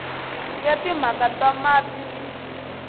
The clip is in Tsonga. ya timhaka ta mati ni